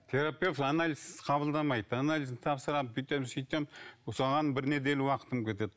терапевт анализсіз қабылдамайды анализді тапсырамын бүйтем сөйтем соған бір неделя уақытым кетеді